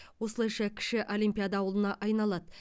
осылайша кіші олимпиада ауылына айналады